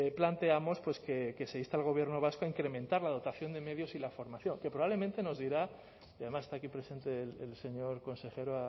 planteamos que se inste al gobierno vasco a incrementar la dotación de medios y la formación que probablemente nos dirá y además está aquí presente el señor consejero